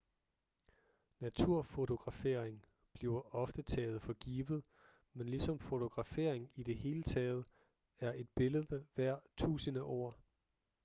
naturfotografering bliver ofte taget for givet men ligesom fotografering i det hele taget er et billede værd tusinde ord